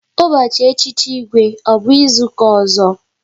Ụbọchị echichi Igwe ọ bụ izuka ọzọ?